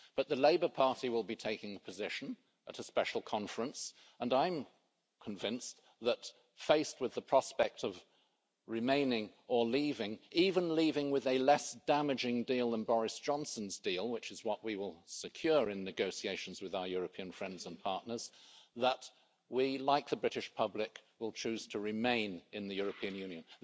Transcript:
But the Labour Party will be taking a position at a special conference and I am convinced that, faced with the prospect of remaining or leaving even leaving with a less damaging deal than Boris Johnson's deal, which is what we will secure in negotiations with our European friends and partners that we, like the British public, will choose to remain in the European Union.